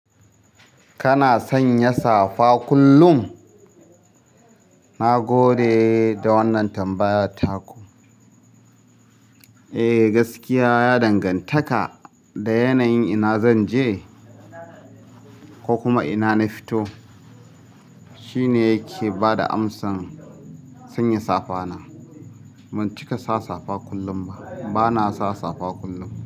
Kana sanya safa kullum? Na gode da wannan tambaya taku. Eh, gaskiya ya dangantaka da yanayin ina zanje ko kuma ina na fito, shine yake bada amsan sanya safa na. Ban cika sa safa kullum ba. Bana sa safa kullum.